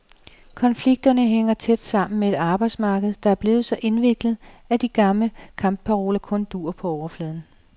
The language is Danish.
Konflikterne hænger tæt sammen med et arbejdsmarked, der er blevet så indviklet, at de gamle kampparoler kun duer på overfladen.